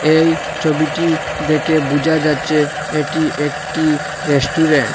এই ছবিটি দেখে বোঝা যাচ্ছে এটি একটি রেস্টুরেন্ট ।